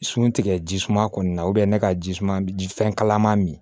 Sun tigɛ ji suma kɔni na ne ka ji suma ji fɛn kalaman min